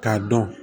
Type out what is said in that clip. K'a dɔn